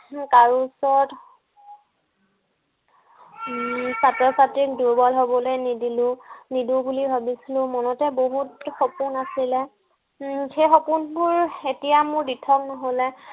উম কাৰো ওচৰত উম কাৰো ওচৰত ছাত্ৰ-ছাত্ৰীক দুৰ্বল হব নিদিলো, নিদো বুলি ভাবিছিলো মনতে বহুত সপোন আছিলে উম সেই সপোন বোৰ এতিয়া মোৰ দিঠক নহলে